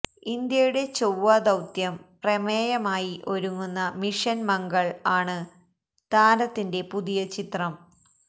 ഇന്ത്യയുടെ ചൊവ്വാ ദൌത്യം പ്രമേയമായി ഒരുങ്ങുന്ന മിഷന് മംഗള് ആണ് താരത്തിന്റെ പുതിയ ചിത്രം